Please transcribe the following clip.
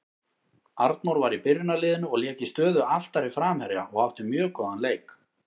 Arnór var í byrjunarliðinu og lék í stöðu aftari framherja og átti mjög góðan leik.